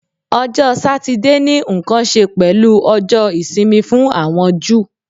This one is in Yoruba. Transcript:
Ọjọ Satidee ni nkan ṣe pẹlu Ọjọ isimi fun awọn Ju